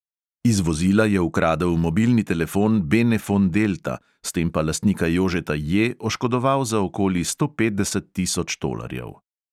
Iz vozila je ukradel mobilni telefon benefon delta, s tem pa lastnika jožeta J oškodoval za okoli sto petdeset tisoč tolarjev.